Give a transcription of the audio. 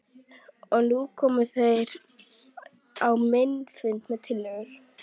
Og nú komu þeir á minn fund með tillögur.